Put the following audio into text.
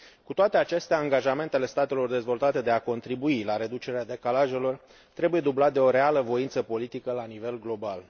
Cu toate acestea, angajamentele statelor dezvoltate de a contribui la reducerea decalajelor trebuie dublate de o reală voință politică la nivel global.